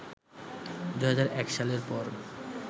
২০০১ সালের পর